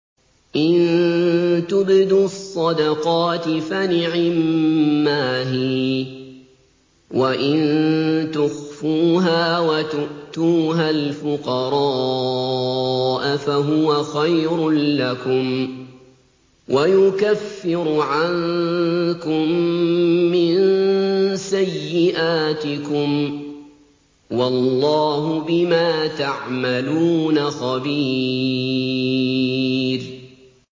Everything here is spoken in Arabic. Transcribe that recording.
إِن تُبْدُوا الصَّدَقَاتِ فَنِعِمَّا هِيَ ۖ وَإِن تُخْفُوهَا وَتُؤْتُوهَا الْفُقَرَاءَ فَهُوَ خَيْرٌ لَّكُمْ ۚ وَيُكَفِّرُ عَنكُم مِّن سَيِّئَاتِكُمْ ۗ وَاللَّهُ بِمَا تَعْمَلُونَ خَبِيرٌ